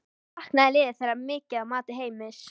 Saknaði liðið þeirra mikið að mati Heimis?